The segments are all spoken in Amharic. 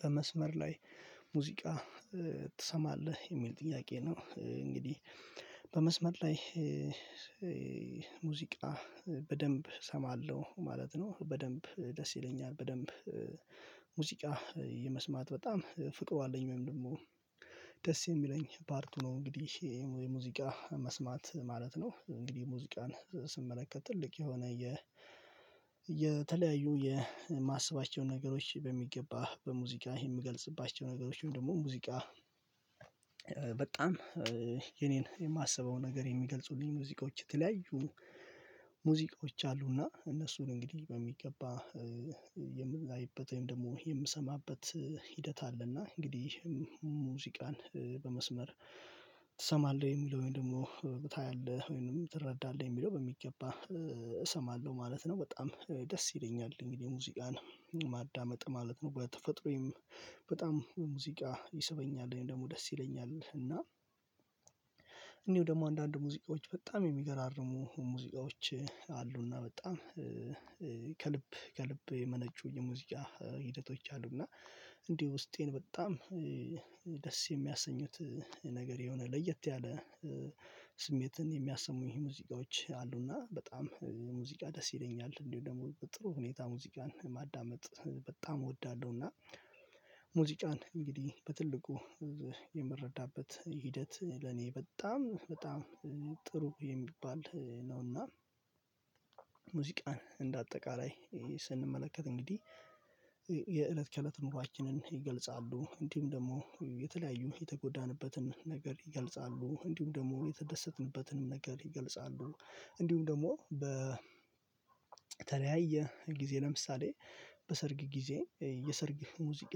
በመስመር ላይ ሙዚቃ ትሰማለህ የሚል ጥያቄ ነው? እንግዲህ በመስመር ላይ ሙዚቃ በደንብ እሰማለሁ ማለት ነው። በደንብ ደስ ይለኛል በደንብ ሙዚቃ የመስማት በጣም ፍቅሩ አለኝ ወይም ደግሞ ደስ የሚለኝ ፓርቱ ነው። እንግዲህ የሙዚቃ መስማት ማለት ነው። እንግዲህ ሙዚቃን ስመለከት ትልቅ የሆነ የ የተለያዩ የማስባቸውን ነገሮች በሚገባ በሙዚቃ የምገልጽባቸው ነገሮችን ደግሞ ሙዚቃ በጣም የኔን የማስበው ነገር የሚገልጹልኝ ሙዚቃዎች የተለያዩ ሙዚቃዎች አሉና እነሱን እንግዲህ በሚገባ የምናይበት ወይም ደግሞ የምሰማበት ሂደት አለና። እንግዲህ ሙዚቃን በመስመር ትሰማለህ ወይ የሚለው ወይ ደግሞ ታያለህ ወይንም ትረዳለህ የሚለው በሚገባ እሰማለሁ ማለት ነው። በጣም ደስ ይለኛል እንግዲህ ሙዚቃን ማዳመጥ ማለት ነው። በተፈጥሮዬም በጣም ሙዚቃ ይሰበኛል ወይም ደግሞ ደስ ይለኛል እና እንዲው ደግሞ አንዳንድ ሙዚቃዎች በጣም የሚገራርሙ ሙዚቃዎች አሉና በጣም ከልብ ከልብ የመነጩ የሙዚቃ ሂደቶች አሉና እንዲሁ ውስጤን በጣም ደስ የሚያሰኙት ነገር የሆነ ለየት ያለ ስሜትን የሚያሰሙኝ ሙዚቃዎች አሉና በጣም ሙዚቃ ደስ ይለኛል እንዲሁ ደግሞ በጥሩ ሁኔታ ሙዚቃን ማዳመጥ በጣም እወዳለሁና። እና ሙዚቃን እንግዲህ በትልቁ የምረዳበት ሂደት ለኔ በጣም በጣም ጥሩ የሚባል ነውና። ሙዚቃን እንደ አጠቃላይ ስንመለከት እንግዲህ የእለት ከእለት ኑሯችንን ይገልጻሉ እንዲሁም ደግሞ የተለያዩ የተጎዳንበትን ነገር ይገልጻሉ እንዲሁም ደግሞ የተደሰትንበትንም ነገር ይገልጻሉ እንዲሁም ደግሞ በተለያየ ጊዜ ለምሳሌ በሰርግ ጊዜ የሰርግ ሙዚቃ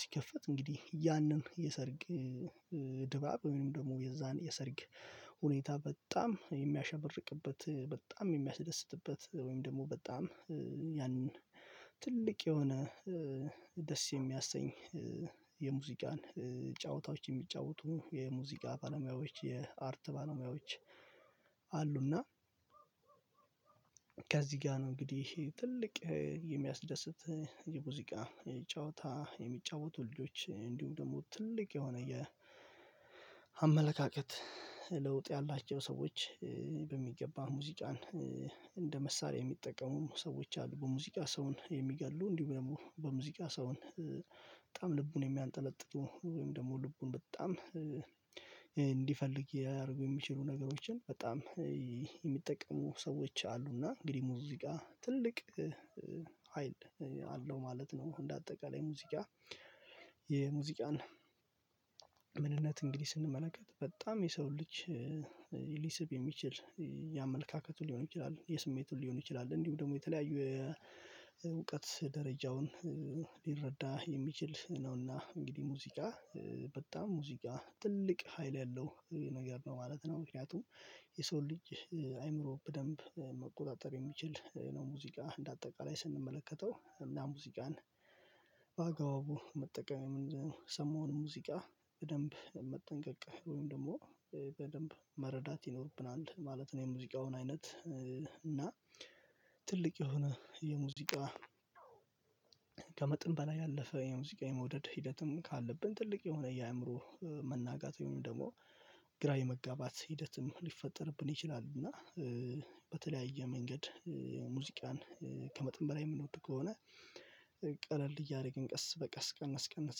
ሲከፈት እንግዲህ ያንን የሰርግ ድባብ ወይም ደግሞ የዛን የሰርግ ሁኔታ በጣም የሚያሸብርቅበት በጣም የሚያስደስትበት ወይም ደግሞ በጣም ያንን ትልቅ የሆነ ደስ የሚያሰኝ የሙዚቃን ጨዋታዎች የሚጫወቱ የሙዚቃ ባለሙያዎች የአርት ባለሙያዎች አሉና። ከዚህ ጋር ነው እንግዲህ ትልቅ የሚያስደስት የሙዚቃ ጨዋታ የሚጫወቱ ልጆች እንዲሁም ደግሞ ትልቅ የሆነ የአመለካከት ለውጥ ያላቸው ሰዎች በሚገባ ሙዚቃን እንደ መሳሪያ የሚጠቀሙም ሰዎች አሉ በሙዚቃ ሰውን የሚገሉ እንዲሁም ደግሞ በሙዚቃ ሰውን በጣም ልቡን የሚያንጠለጥጡ ወይም ደግሞ ልቡን በጣም እንዲፈልግ ሊያደርጉ የሚችሉ ነገሮችን በጣም የሚጠቀሙ ሰዎች አሉና እንግዲህ ሙዚቃ ትልቅ ሀይል አለው ማለት ነው። እንደ አጠቃላይ ሙዚቃ የሙዚቃን ምንነት እንግዲህ ስንመለከት በጣም የሰው ልጅ የሚችል የአመለካከቱን ሊሆን ይችላል የስሜቱን ሊሆን ይችላል እንዲሁ ደግሞ የተለያዩ የእውቀት ደረጃውን ሊረዳ የሚችል ነውና እንግዲህ ሙዚቃ በጣም ሙዚቃ ትልቅ ሀይል ያለው የነገር ነው ማለት ነው። ምክንያቱም የሰው ልጅ አይምሮ በደንብ መቆጣጠር የሚችል ነው ሙዚቃ እንደ አጠቃላይ ስንመለከተው እና ሙዚቃን በአግባቡ መጠቀም የምንሰማውን ሙዚቃ በደንብ መጠንቀቅ ወይም ደግሞ በደንብ መረዳት ይኖርብናል ማለት ነው። የሙዚቃውን አይነት እና ትልቅ የሆነ የሙዚቃ ከመጠን በላይ ያለፈ የሙዚቃ የመውደድ ሂደትም ካለብን ትልቅ የሆነ የአእምሮ መናጋት ወይም ደግሞ ግራ የመጋባት ሂደትም ሊፈጠርብን ይችላል። እና በተለያየ መንገድ ሙዚቃን ከመጠን በላይ የምንወድ ከሆነ ቀለል እያደረግን ቀስ በቀስ ቀነስ ቀነስ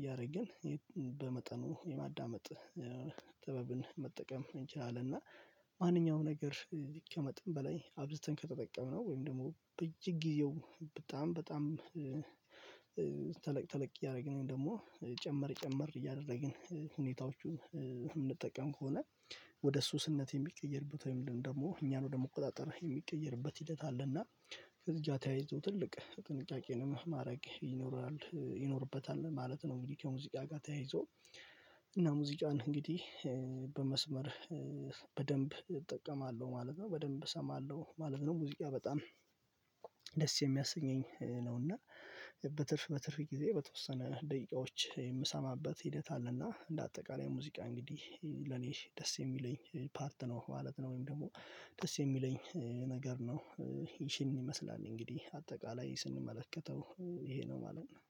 እያደረግን በመጠኑ የማዳመጥ ጥበብን መጠቀም እንችላለን እና ማንኛውም ነገር ከመጠን በላይ አብዝተን ከተጠቀምነው ወይም ደግሞ በየጊዜው በጣም በጣም ተለቅ ተለቅ እያደረግን ደግሞ ጨመር ጨመር እያደረግን ሁኔታዎቹን የምንጠቀም ከሆነ ወደ ሱስነት የሚቀየርበት ወይም ደግሞ እኛን ወደ መቆጣጠር የሚቀየርበት ሂደት አለና ከዚያ ተያይዞ ትልቅ ጥንቃቄንም ማድረግ ይኖራል ይኖርበታል ማለት ነው። እንግዲህ ከሙዚቃ ጋር ተያይዞ እና ሙዚቃን እንግዲህ በመስመር በደንብ እጠቀማለሁ ማለት ነው በደንብ እሰማለሁ ማለት ነው። ሙዚቃ በጣም ደስ የሚያሰኘኝ ነው እና በትርፍ በትርፍ ጊዜ በተወሰነ ደቂቃዎች የምሰማበት ሂደት አለና እንደ አጠቃላይ ሙዚቃ እንግዲህ ለኔ ደስ የሚለኝ ፓርት ነው ማለት ነው። ወይም ደግሞ ደስ የሚለኝ ነገር ነው ይሄንን ይመስላል እንግዲህ አጠቃላይ ስንመለከተው ይሄ ነው ማለት ነው።